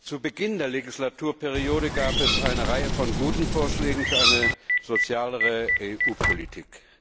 Zu Beginn der Legislaturperiode gab es eine Reihe von guten Vorschlägen für eine sozialere EU Politik.